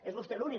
és vostè l’únic